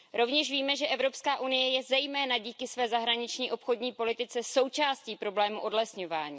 Rovněž víme, že Evropská unie je zejména díky své zahraniční obchodní politice součástí problému odlesňování.